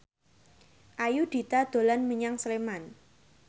Ayudhita dolan menyang Sleman